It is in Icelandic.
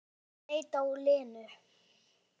Júlía leit á Lenu.